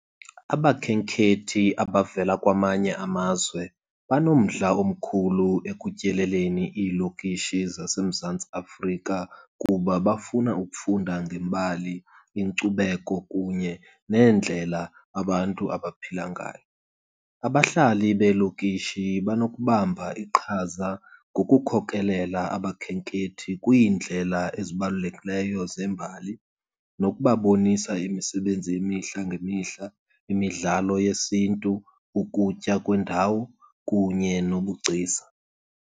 Abakhenkethi abavela kwamanye amazwe banomdla omkhulu ekutyeleleni iilokishi zaseMzantsi Afrika kuba bafuna ukufunda ngembali, inkcubeko kunye neendlela abantu abaphila ngayo. Abahlali beelokishi banokubamba iqhaza ngokukhokelela abakhenkethi kwiindlela ezibalulekileyo zembali nokubabonisa imisebenzi yemihla ngemihla, imidlalo yesiNtu, ukutya kwendawo kunye nobugcisa.